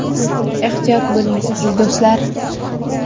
Ehtiyot bo‘ling, aziz do‘stlar!